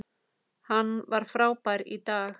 Hann var frábær í dag.